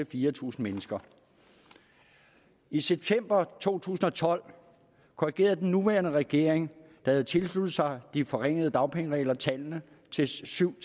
fire tusind mennesker i september to tusind og tolv korrigerede den nuværende regering der havde tilsluttet sig de forringede dagpengeregler tallene til syv